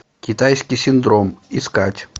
китайский синдром искать